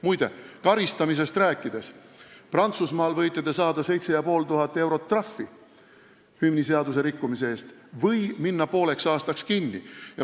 Muide, kui karistamisest rääkida, siis Prantsusmaal võite te saada 7500 eurot trahvi hümniseaduse rikkumise eest või minna pooleks aastaks kinni.